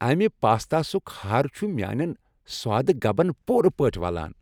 امہ پاستا سک ہَر چھُ میانین سوادٕ گبن پُورٕ پٲٹھۍ ولان۔